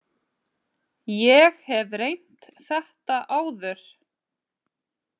Ég hef reynt þetta áður.